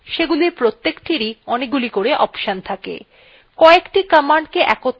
linuxa অনেক commands আছে